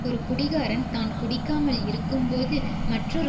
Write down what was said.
ஒரு குடிகாரன் தான் குடிக்காமல் இருக்கும்போது மற்றொரு